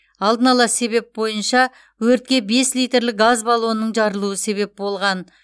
алдын ала себеп бойынша өртке бес литрлік газ баллонының жарылуы себеп болған